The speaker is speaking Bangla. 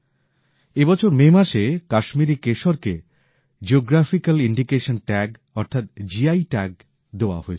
এই বছর মে মাসে কাশ্মীরি কেশরকে জিওগ্রাফিক্যাল ইন্ডিকেশন ট্যাগ অর্থাৎ জিআই ট্যাগ দেওয়া হয়েছে